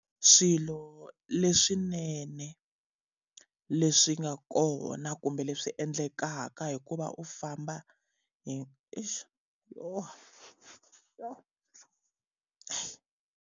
Swilo leswinene leswi nga kona kumbe leswi endlekaka hi ku va u famba hi .